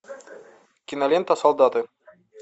кинолента солдаты